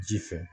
Ji fɛ